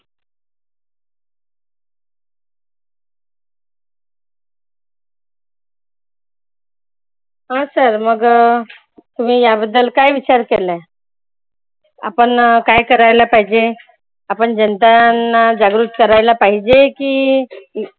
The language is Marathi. हा sir मग तुम्ही या बद्दल काय विचार केला आहे? आपण काय करायला पाहिजे? आपण जनतांना जागृत करायला पाहिजे की